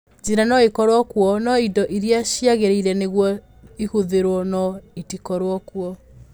"Njĩra no ĩkorũo kuo, no indo iria ciagĩrĩire nĩguo ĩhũthĩrũo no itikorũo kuo".